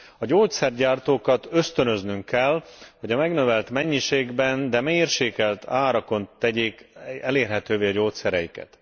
A gyógyszergyártókat ösztönöznünk kell, hogy megnövelt mennyiségben, de mérsékelt árakon tegyék elérhetővé a gyógyszereiket.